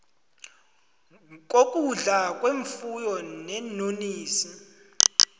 kokudla kwefuyo neenonisi